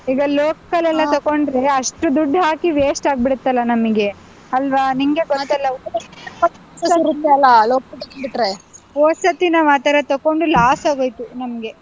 ಈಗ local ತಕೊಂಡ್ರೆ ಅಷ್ಟು ದುಡ್ ಹಾಕಿ waste ಆಗ್ಬಿಡುತ್ತಲ್ಲಾ ನಮಿಗೆ ಅಲ್ವಾ, ನಿಂಗೆ . ಹೊದ್ ಸರ್ತಿ ನಾವ್ ಆ ತರ ತಕೊಂಡು loss ಆಗ್ಹೋಯ್ತು ನಮ್ಗೆ.